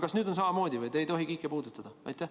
Kas nüüd on samamoodi, et te ei tohi Kiike puudutada?